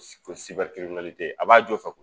S ko a b'a jo fɛ koyi.